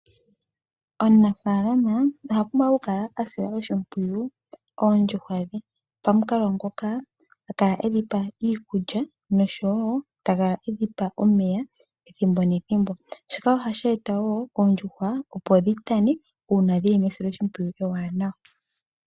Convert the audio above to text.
Omunafaalama oha pumbwa okukala ta sile oondjuhwa dhe oshimpwiyu. Pamukalo nguka ta kala e dhi pa iikulya nosho wo ta kala edhi pa omeya ethimbo nethimbo. Shika ohashi eta wo oondjuhwa opo dhi tane uuna dhi li mesiloshimpwiyu ewanawa.